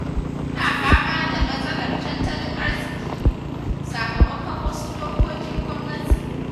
Muna fama da matsalar tattalin arziki, sakamakon wasu dokokin gwamnati.